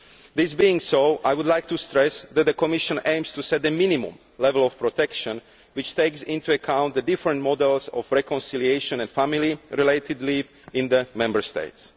This being so, I would like to stress that the Commission aims to set the minimum level of protection which takes into account the different models of reconciliation and family related leave in the Member States.